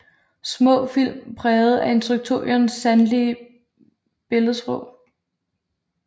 Små film præget af instruktørens sanselige billedsprog